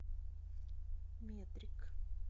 метрик